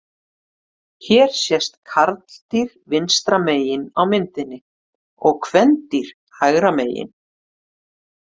Hér sést karldýr vinstra megin á myndinni og kvendýr hægra megin.